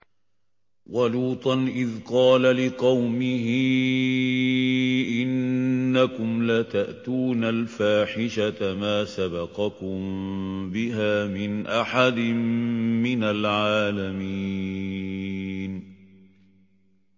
وَلُوطًا إِذْ قَالَ لِقَوْمِهِ إِنَّكُمْ لَتَأْتُونَ الْفَاحِشَةَ مَا سَبَقَكُم بِهَا مِنْ أَحَدٍ مِّنَ الْعَالَمِينَ